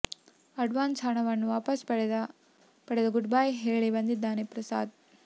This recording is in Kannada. ಅಡ್ವಾನ್ಸ್ ಹಣವನ್ನು ವಾಪಸ್ ಪಡೆದು ಗುಡ್ ಬೈ ಹೇಳಿ ಬಂದಿದ್ದಾರೆ ಪ್ರಸಾದ್